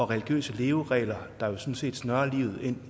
religiøse leveregler der jo sådan set snører livet ind